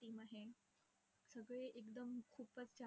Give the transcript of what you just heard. आहे सगळे एकदम खूपच,